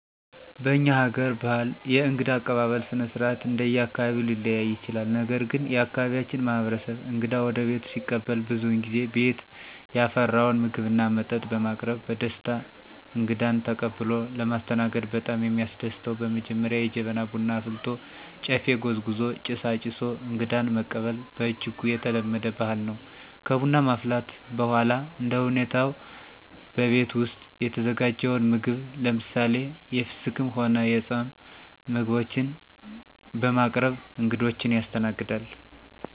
በእኛ ሀገር በህል የእንግዳ አቀባበል ስነስርአት እንደየአካባቢው ሊለያይ ይችላል ነገር ግን የአካባቢያችን ማህበረሰብ እንግዳ ወደቤቱ ሲቀበል ብዙውን ጊዜ ቤት ያፈራውን ምግብና መጠጥ በማቅረብ በደስታ እንግዳን ተቀብሎ ለማስተናገድ በጣም የሚያስደስተው በመጀመሪያ የጀበና ቡና አፍልቶ፣ ጨፌ ጎዝጉዞ፣ ጭስ አጭሶ አንግዳን መቀበል በእጅጉ የተለመደ ባህል ነው። ከቡና ማፍላት በኋላ እንደሁኔታው በቤት ውስጥ የተዘጋጀውን ምግብ ለምሳሌ፦ የፍስክም ሆነ የፃም ምግቦችን በማቅረብ እንግዶችን ያስተናግዳል።